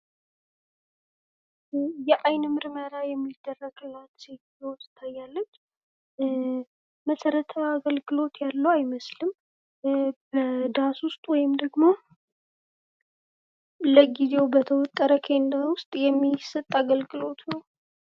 የዓይን ምርመራ የሚደረገለት ሴትዮ ትታይያለች መሰረታዊ አገልግሎት ያለው አይመስልም በዳስ ውስጥ ወይም ደግሞ ለጊዜው በተወጠረ ክንዳ ውስጥ የሚሰጥ አገልግሎት ነው።